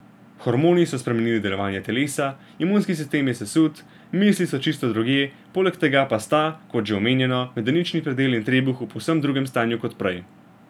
Hormoni so spremenili delovanje telesa, imunski sistem je sesut, misli so čisto drugje, poleg tega pa sta, kot že omenjeno, medenični predel in trebuh v povsem drugem stanju kot prej.